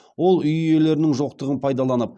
ол үй иелерінің жоқтығын пайдаланып